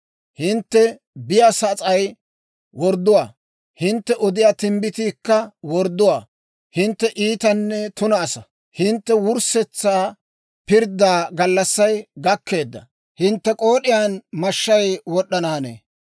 Hintte be'iyaa sas'ay wordduwaa; hintte odiyaa timbbitiikka wordduwaa. Hintte iitanne tuna asaa; hintte wurssetsa pirddaa gallassay gakkeedda. Hintte k'ood'iyaan mashshay wod'd'ana hanee.